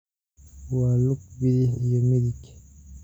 Waa lug bidix iyo midig.